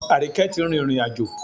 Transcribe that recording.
Àríkẹ́ tí rìrìn àjò